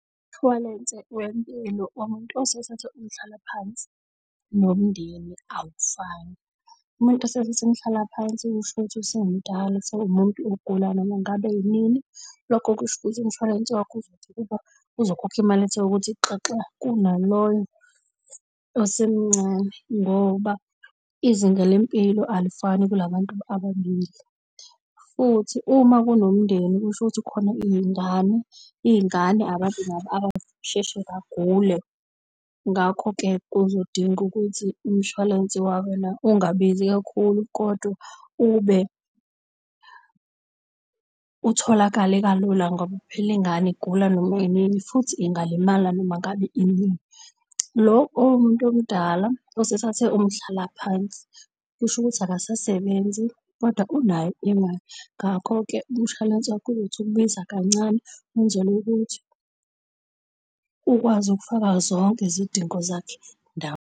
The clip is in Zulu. Umshwalense wempilo womuntu osethathe umhlala phansi nomndeni awufani. Umuntu osethathe umhlala phansi kusho ukuthi usemdala usewumuntu ogula noma ngabe inini. Lokho kusho ukuthi umshwarense wakho uzothi ukuba, uzokhokha imali ethe ukuthi xaxa kunaloyo osemncane. Ngoba izinga lempilo alifani kula bantu ababili. Futhi uma kunomndeni kusho ukuthi khona iy'ngane, iy'ngane abantu nabo abasheshe bagule. Ngakho-ke, uzodinga ukuthi umshwalense ungabizi kakhulu kodwa utholakale kalula ngoba phela ingane igula noma yinini futhi ingalimala noma ngabe inini. Lo owomuntu omdala osethathe umhlalaphansi, kusho ukuthi akasasebenzi kodwa unayo imali. Ngakho-ke, umshwalense wakho uzothi ukubiza kancane wenzele ukuthi ukwazi ukufaka zonke izidingo zakhe ndawonye.